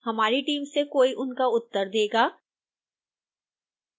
हमारी टीम से कोई उनका उत्तर देगा